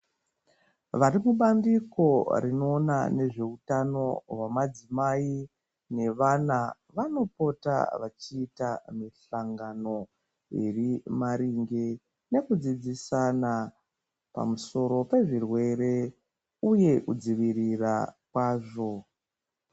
Vari kubandiko rinoona nezveutano hwemadzimai nevana vanopota vachiita mihlangano iri maringe nekudzidzisana pamusoro pezvirwere uye kudzivirira kwazvo.